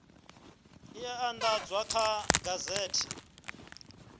e a andadzwa kha gazethe